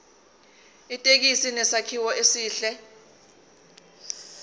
ithekisi inesakhiwo esihle